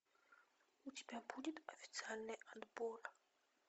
у тебя будет официальный отбор